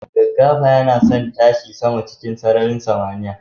Gaggafayanason tashi sama cikin sararin samaniya